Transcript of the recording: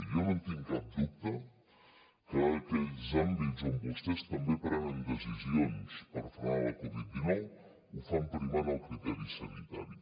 jo no en tinc cap dubte que aquells àmbits on vostès també prenen decisions per frenar la covid dinou ho fan primant el criteri sanitari